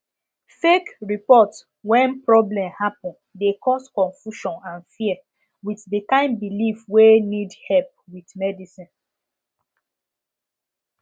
fake report when problem happen de cause confusion and fear with de kind belief wey need help with medicine